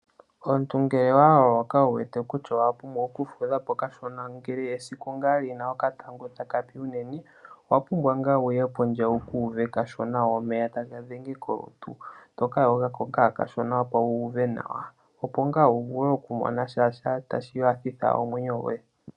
Omuntu ngele wa loloka wu wete kutya owa pumbwa okufudha po kashona, ngele esiku ngaa li na okatango taka fike unene, owa pumbwa ngaa wu ye pondje wu ka uve kashona omeya taga dhenge kolutu to ka yoga ko ngaa kashona, opo wu uve nawa opo vule okumona sha ngaa tashi nyanyudha omwenyo goye.